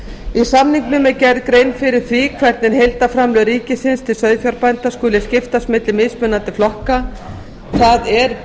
í samningnum er gerð grein fyrir því hvernig heildarframlög ríkisins til sauðfjárbænda skuli skiptast milli mismunandi flokka það er